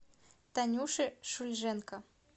танюше шульженко